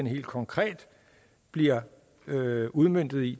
helt konkret bliver udmøntet i